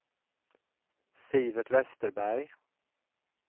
Sivert Vesterberg